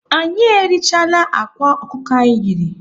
Anyị erichaala akwa ọkụkọ anyị yiri.